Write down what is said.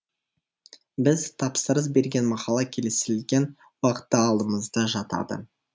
біз тапсырыс берген мақала келісілген уақытта алдымызда жатады